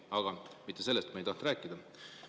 Aga mitte sellest ma ei tahtnud rääkida.